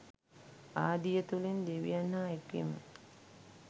ආදිය තුළින් දෙවියන් හා එක්වීම